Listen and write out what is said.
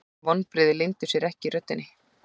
Vonbrigðin leyndu sér ekki í röddinni.